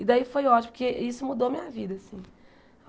E daí foi ótimo, porque isso mudou a minha vida, assim.